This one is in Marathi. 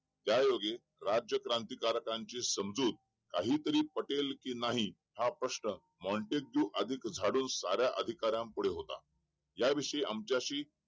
त्या योगे राज्य क्रांतिकारकांची समजूत काही पटेल का नाही हा प्रश्न मोटेंस्क्यू झाडून साऱ्या अधिकाऱ्यानं समोर होता या विषयी आमच्याशी